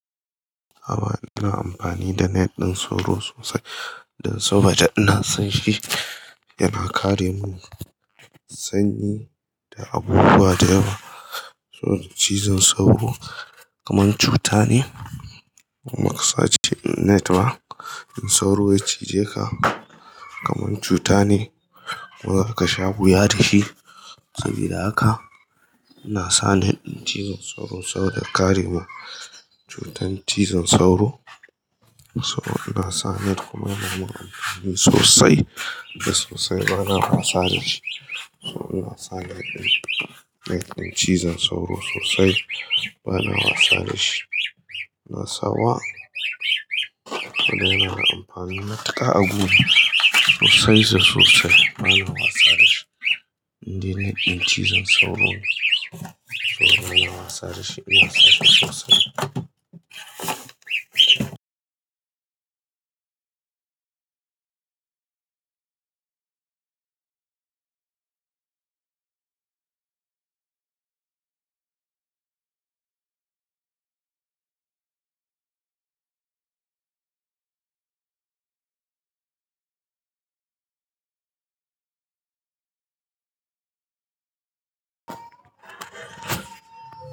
A'a bana amfani da net ɗin sauro sosai dan saboda ina san shi yana kare mu sanyi da abubuwa da yawa. Sauro cizon sauro kamar cuta ne, maka sace net ba, in sauro ya cije ka kamar cuta ne, muga ka sha wuya da shi. Sabida haka ina sa net ɗin cizon sauro saboda kare mu cutar cizon sauro. Sauro ina sa net kuma yana mun amfani sosai da sosai bana wasa da shi. Sauro ina sa net ɗin, net ɗin cizon sauro sosai bana wasa da shi. Na sa wa, to dai na amfani matuƙa a guri sosai da sosai bana wasa da shi. Inda net ɗin cizon sauro ne. Sauro bana wasa da shi, ina sa shi sosai.